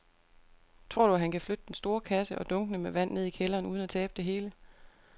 Tror du, at han kan flytte den store kasse og dunkene med vand ned i kælderen uden at tabe det hele?